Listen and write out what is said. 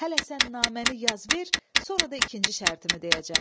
Hələ sən naməni yaz ver, sonra da ikinci şərtimi deyəcəm.